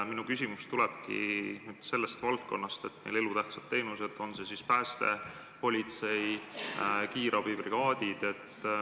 Minu küsimus tulebki sellest valdkonnast, et meil elutähtsad teenused: politsei, pääste- ja kiirabibrigaadid.